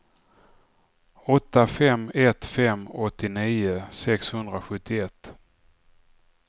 åtta fem ett fem åttionio sexhundrasjuttioett